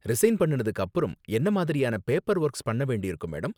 Resign பண்ணுனதுக்கு அப்பறம் என்ன மாதிரியான பேப்பர் ஒர்க்ஸ் பண்ண வேண்டியிருக்கும், மேடம்?